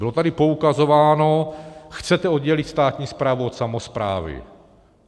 Bylo tady poukazováno: Chcete oddělit státní správu od samosprávy?